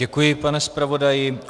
Děkuji, pane zpravodaji.